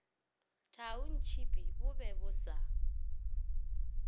thaontšhipi bo be bo sa